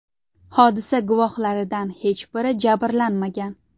Hodisa guvohlaridan hech biri jabrlanmagan.